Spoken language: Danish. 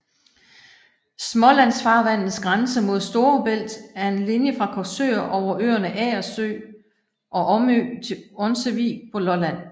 Smålandsfarvandets grænse mod Store Bælt er en linje fra Korsør over øerne Agersø og Omø til Onsevig på Lolland